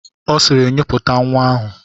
Ọ sịịrị, nyipụta nwa ahụ!